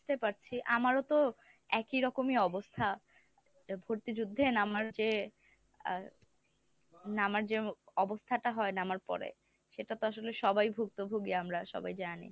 বুঝতে পারছি আমারও তো একই রকমই অবস্থা তা ভর্তি যুদ্ধে নামার চেয়ে আ নামার যে অবস্থাটা হয় নামার পরে সেটা তো আসলে সবাই ভুক্তভোগী আমরা সবাই জানে।